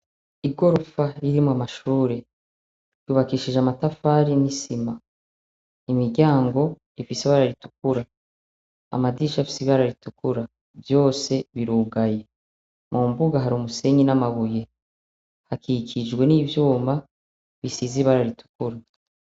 Igorofa ririmwo amashure yubakishije amatafari n'isima, imiryango ifise ibara ritukura, amadirisha afise ibara ritukura vyose birugaye, mu mbuga hari umusenyi n'amabuye hakikijwe n'ivyuma bisize ibara ritukura.